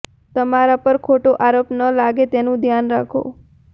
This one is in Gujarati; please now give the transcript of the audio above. તમારા પર ખોટા આરોપ ન લાગે તેનુ ધ્યાન રાખો